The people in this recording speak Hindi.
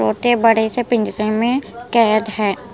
छोटेबड़े से पिंजरे में कैद है।